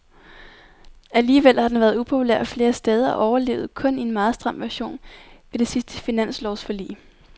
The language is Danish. Alligevel har den været upopulær flere steder og overlevede kun i en meget stram version ved det sidste finanslovsforlig.